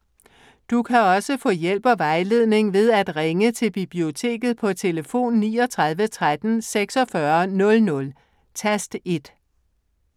Du kan også få hjælp og vejledning ved at ringe til Biblioteket på tlf. 39 13 46 00, tast 1.